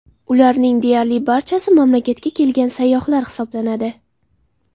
Ularning deyarli barchasi mamlakatga kelgan sayyohlar hisoblanadi.